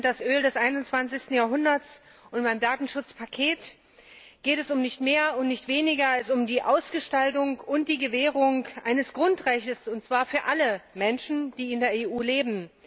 Daten sind das Öl des 21.Jahrhunderts. Und beim Datenschutzpaket geht es um nicht mehr und nicht weniger als um die Ausgestaltung und die Gewährung eines Grundrechts und zwar für alle Menschen, die in der EU leben.